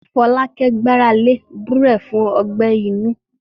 Fọlákẹ́ gbára lé gbúre fún ọgbẹ inú